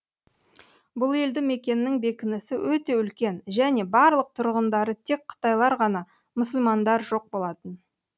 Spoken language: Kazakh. бұл елді мекеннің бекінісі өте үлкен және барлық тұрғындары тек қытайлар ғана мұсылмандар жоқ болатын